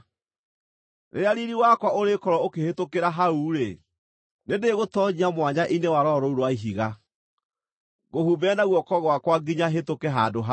Rĩrĩa riiri wakwa ũrĩkorwo ũkĩhĩtũkĩra hau-rĩ, nĩndĩgũtoonyia mwanya-inĩ wa rwaro rũu rwa ihiga, ngũhumbĩre na guoko gwakwa nginya hĩtũke handũ hau.